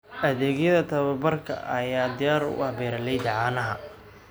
Adeegyada tababarka ayaa diyaar u ah beeralayda caanaha.